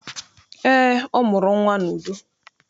Eé, ọ mụrụ nnwa n'udo.